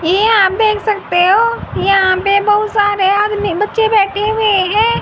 ये आप देख सकते हो यहां पे बहुत सारे आदमी बच्चे बैठे हुए हैं।